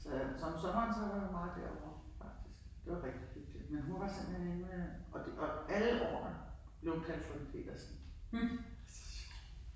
Så øh så om sommeren så var vi meget derovre faktisk. Det var rigtig hyggeligt. Men hun var simpelthen inde og det øh og alle årene blev hun kaldt frøken Petersen. Så sjov